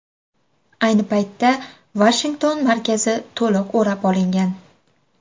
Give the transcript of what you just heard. Ayni paytda Vashington markazi to‘liq o‘rab olingan.